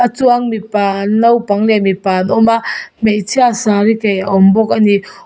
a chuang mipa naupang leh mipa an awma hmeichhia sari kaih a awmbawk ani.